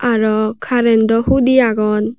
aro current o hudi agon.